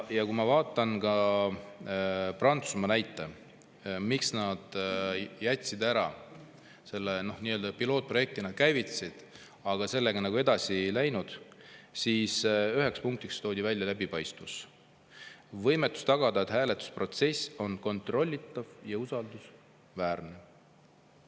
Ja kui ma vaatan Prantsusmaa näidet, miks nad selle ära jätsid – nii-öelda pilootprojektina käivitasid, aga sellega edasi ei läinud –, siis ühe punktina toodi välja läbipaistvus, võimetus tagada, et hääletusprotsess on kontrollitav ja usaldusväärne.